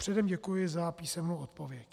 Předem děkuji za písemnou odpověď.